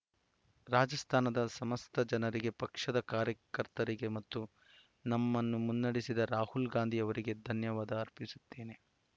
ರಾಜಸ್ಥಾನದ ಸಮಸ್ತ ಜನರಿಗೆ ಪಕ್ಷದ ಕಾರ್ಯಕರ್ತರಿಗೆ ಮತ್ತು ನಮ್ಮನ್ನು ಮುನ್ನಡೆಸಿದ ರಾಹುಲ್‌ ಗಾಂಧಿ ಅವರಿಗೆ ಧನ್ಯವಾದ ಅರ್ಪಿಸುತ್ತೇನೆ